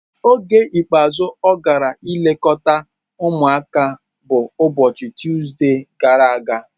Oge ikpeazụ ọ gara ilekọta ụmụaka bụ ụbọchị Tuzdee gara aga.